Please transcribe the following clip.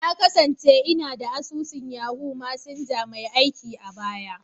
Na kasance ina da asusun Yahoo Messenger mai aiki a baya.